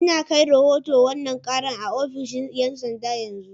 Ina kai rahoton wannan karar a ofishin 'yan sanda a yanzu.